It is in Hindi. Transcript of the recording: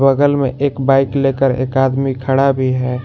बगल में एक बाइक लेकर एक आदमी खड़ा भी है।